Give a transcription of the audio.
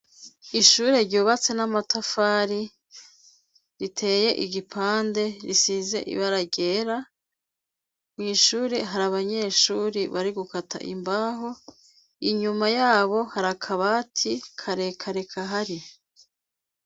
Ishure ryubatse n'amatafari riteye igipande risize ibara ryera, mw'ishuri hari abanyeshuri bari gukata imbaho inyuma yabo harakaba ati karekareka kahari.